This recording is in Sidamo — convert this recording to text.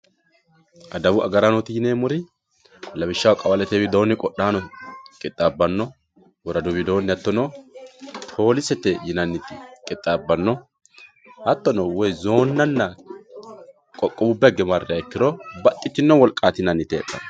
adawu agaraanooti yineemmoti lawishshaho qawalete qodhaano qixxaabbanno woradu widoonni hattono poolisete yinanniti qixxaabbanno hattono zoonnanna qoqqowubba hinge marriha ikkiro baxxitino wolqaati yinanniti heedhanno.